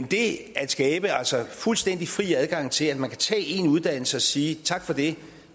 det at skabe fuldstændig fri adgang til at man kan tage én uddannelse og sige tak for det